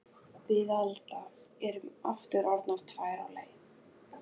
Við Alda erum aftur orðnar tvær á ferð.